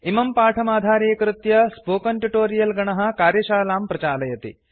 इमं पाठमाधारीकृत्य spoken tutorial गणः कार्यशालां प्रचालयति